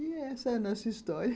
E essa é a nossa história